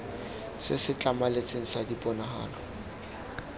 se se tlhamaletseng sa diponagalo